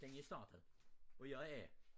Den er startet og jeg er A